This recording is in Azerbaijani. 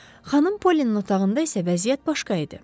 Xanım Polinin otağında isə vəziyyət başqa idi.